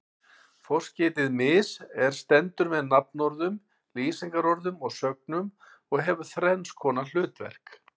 Forskeytið mis- er stendur með nafnorðum, lýsingarorðum og sögnum og hefur þrenns konar hlutverk.